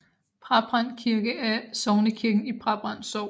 Brabrand Kirke er sognekirken i Brabrand Sogn